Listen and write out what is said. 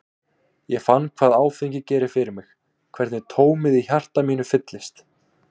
Ég fann hvað áfengi gerir fyrir mig, hvernig tómið í hjarta mínu fyllist.